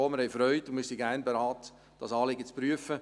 Wir haben Freude und sind gerne bereit, dieses Anliegen zu prüfen.